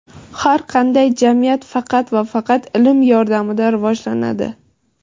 Har qanday jamiyat faqat va faqat ilm yordamida rivojlanadi.